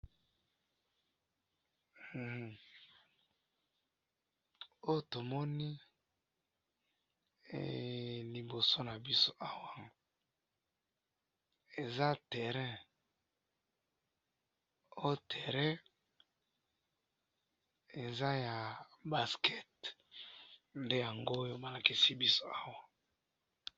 otomoni eeehhh liboso nabiso awa eza terrain, ohh terrain eza ya basket nde yangoyo lekisibiso awa